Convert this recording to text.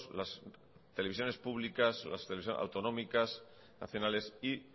las televisiones públicas las televisiones autonómicas nacionales y